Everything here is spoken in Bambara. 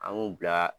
An y'u bila